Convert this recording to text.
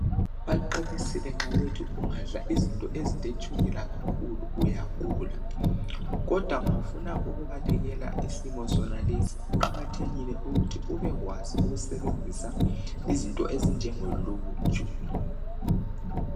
Baqinisile nxa bethi ungadla izinto eziletshukela kakhulu uyagula kodwa ma ufuna ukubalekela isimo sonalesi kuqakathekile ukuthi ubekwazi ukusebenzisa izinto ezinjengoluju